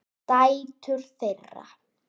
Dætur þeirra